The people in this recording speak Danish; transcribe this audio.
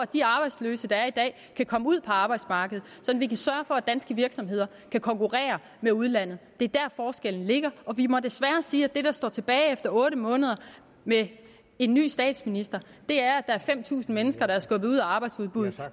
de arbejdsløse der er i dag kan komme ud på arbejdsmarkedet så vi kan sørge for at danske virksomheder kan konkurrere med udlandet det er der forskellen ligger vi må desværre sige at det der står tilbage efter otte måneder med en ny statsminister er at der er fem tusind mennesker der er skubbet ud af arbejdsudbuddet